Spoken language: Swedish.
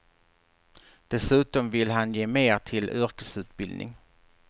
Dessutom vill han ge mer till yrkesutbildning.